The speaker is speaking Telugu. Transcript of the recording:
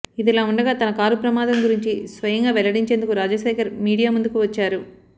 ఇదిలా ఉండగా తన కారు ప్రమాదం గురించి స్వయంగా వెల్లడించేందుకు రాజశేఖర్ మీడియా ముందుకు వచ్చారు